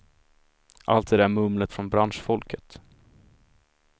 Allt det där mumlet från branschfolket.